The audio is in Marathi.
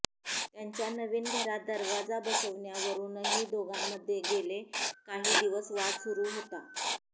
त्यांच्या नवीन घरात दरवाजा बसवण्यावरूनही दोघांमध्ये गेले काही दिवस वाद सुरू होता